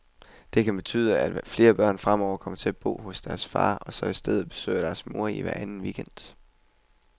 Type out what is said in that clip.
Det kan betyde, at flere børn fremover kommer til at bo hos deres far, og så i stedet besøger deres mor hver anden weekend.